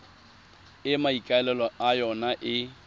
e maikaelelo a yona e